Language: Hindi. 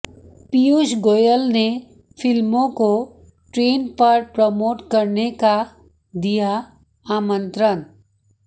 पीयूष गोयल ने फिल्मों को ट्रेन पर प्रमोट करने का दिया आमंत्रण